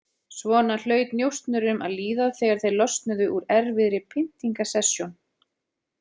Svona hlaut njósnurum að líða þegar þeir losnuðu úr erfiðri pyntingasessjón.